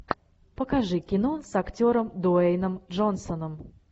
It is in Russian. покажи кино с актером дуэйном джонсоном